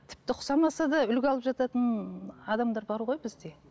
тіпті ұқсамаса да үлгі алып жататын адамдар бар ғой бізде